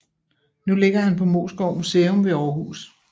Nu ligger han på Moesgård Museum ved Århus